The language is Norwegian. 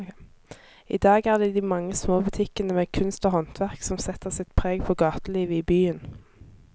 I dag er det de mange små butikkene med kunst og håndverk som setter sitt preg på gatelivet i byen.